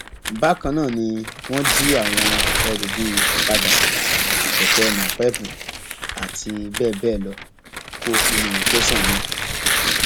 bákan náà ni wọn jí àwọn ẹrú bíi ọkadà kẹkẹ napéépù àti bẹẹ bẹẹ lọ kó nínú tẹsán náà